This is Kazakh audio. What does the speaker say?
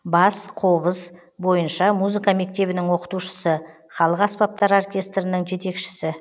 бас қобыз бойынша музыка мектебінің оқытушысы халық аспаптар аркестрінің жетекшісі